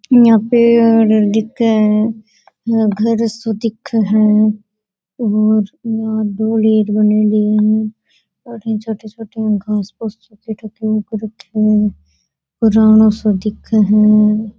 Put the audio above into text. यहाँ पे और दिखे घर सो दिखे है पुराणों सा दिखे है।